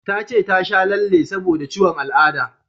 Ta ce ta sha lalle saboda ciwon al'ada